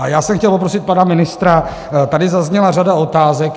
A já jsem chtěl poprosit pana ministra, tady zazněla řada otázek.